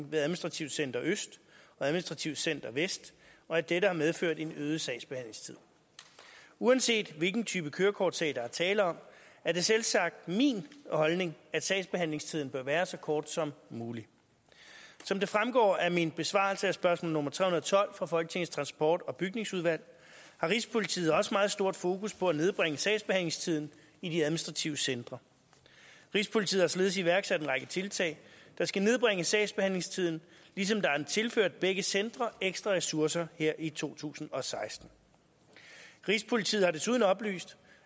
ved administrativt center øst og administrativt center vest og at dette har medført en øget sagsbehandlingstid uanset hvilken type kørekortsag der er tale om er det selvsagt min holdning at sagsbehandlingstiden bør være så kort som muligt som det fremgår af min besvarelse af spørgsmål nummer tre hundrede og tolv fra folketingets transport og bygningsudvalg har rigspolitiet også meget stort fokus på at nedbringe sagsbehandlingstiden i de administrative centre rigspolitiet har således iværksat en række tiltag der skal nedbringe sagsbehandlingstiden ligesom der er tilført begge centre ekstra ressourcer her i to tusind og seksten rigspolitiet har desuden oplyst